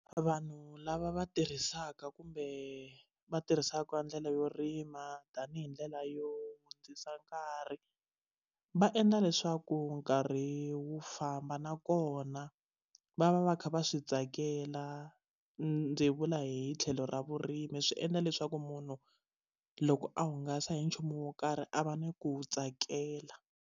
Vanhu lava va tirhisaka kumbe va tirhisaka ndlela yo rima tanihi ndlela yo hundzisa nkarhi va endla leswaku nkarhi wu famba nakona va va va kha va swi tsakela ndzi vula hi tlhelo ra vurimi swi endla leswaku munhu loko a hungasa hi nchumu wo karhi a va ni ku tsakela.